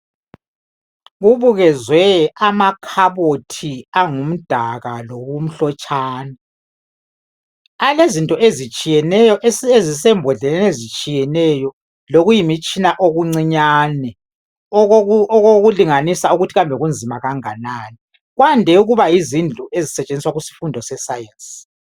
Kubukezwe amakhabothi angumdaka lokumhlotshana. Alezinto ezitshiyeneyo ezisembodleleni ezitshiyeneyo lokuyimitshina okuncinyane okokulinganisa ukuthi kambe kunzima kanganani. Kwande ukuba yizindlu ezisetshenziswa kusifundo se"science".